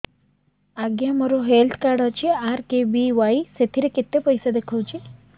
ଆଜ୍ଞା ମୋର health card ଅଛି ଆର୍.କେ.ବି.ୱାଇ ସେଥିରେ କେତେ ପଇସା ଦେଖଉଛି